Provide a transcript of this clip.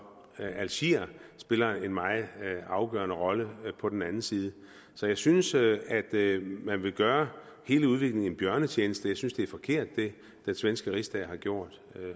algeriet spiller en meget afgørende rolle på den anden side så jeg synes at at man vil gøre hele udviklingen en bjørnetjeneste jeg synes det er forkert hvad den svenske rigsdag har gjort